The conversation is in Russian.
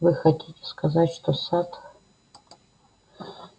вы хотите сказать что сатт